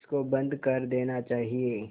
इसको बंद कर देना चाहिए